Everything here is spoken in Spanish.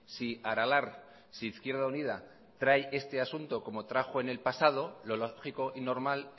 si aralar si izquierda unida trae este asunto como trajo en el pasado lo lógico y normal